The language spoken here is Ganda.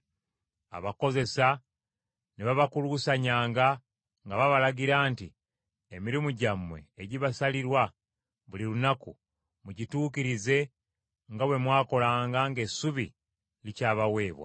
Abakozesa ne babakuluusanyanga nga babalagira nti, “Emirimu gyammwe egibasalirwa buli lunaku, mugituukirize nga bwe mwakolanga ng’essubi likyabaweebwa.”